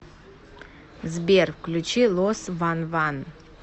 сбер включи лос ван ван